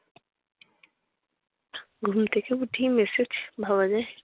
ঘুম থেকে উঠেই message ভাবা যায়!